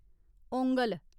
ओंगल